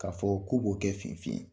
K'a fɔ k'o b'o kɛ finfin ye.